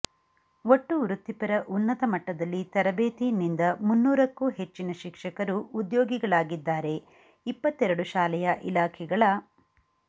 ಒಟ್ಟು ವೃತ್ತಿಪರ ಉನ್ನತ ಮಟ್ಟದಲ್ಲಿ ತರಬೇತಿ ನಿಂದ ಮುನ್ನೂರಕ್ಕೂ ಹೆಚ್ಚಿನ ಶಿಕ್ಷಕರು ಉದ್ಯೋಗಿಗಳಿದ್ದಾರೆ ಇಪ್ಪತ್ತೆರಡು ಶಾಲೆಯ ಇಲಾಖೆಗಳ